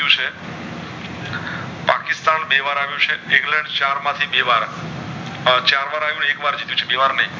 પાકિસ્તાન બે વાર આવ્યુ છે ઇંગ્લેન્ડ ચાર માંથી બે વાર ચાર હરિયું એક વાર જીત્યું છે